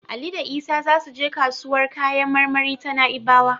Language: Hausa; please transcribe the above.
Ali da Isa za su je kasuwar kayan marmari ta Na'ibawa.